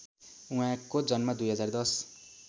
उहाँको जन्म २०१०